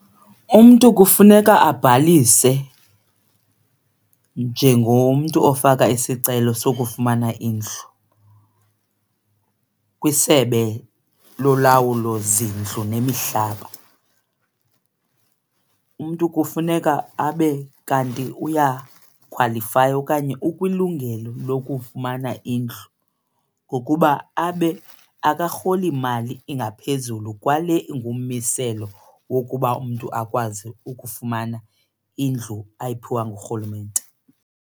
Umntu kufuneka abhalise njengomntu ofaka isicelo sokufumana indlu kwiSebe Lolawulo Zindlu Nemihlaba. Umntu kufuneka abe kanti uyakhwalifaya okanye ukwilungelo lokufumana indlu ngokuba abe akarholi mali engaphezulu kwale ingummiselo wokuba umntu akwazi ukufumana indlu ayiphiwa ngurhulumente.